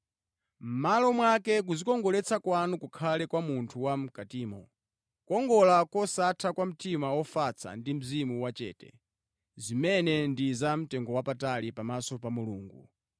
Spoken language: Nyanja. Mʼmalo mwake kudzikongoletsa kwanu kukhale kwa munthu wa mʼkatimo, kukongola kosatha kwa mtima ofatsa ndi mzimu wachete, zimene ndi za mtengowapatali pamaso pa Mulungu.